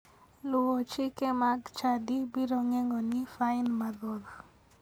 Luwo chike mag chadi biro geng'oni fain mathoth.